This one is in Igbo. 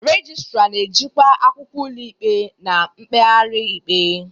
Registra na-ejikwa akwụkwọ ụlọikpe na mkpegharị ikpe.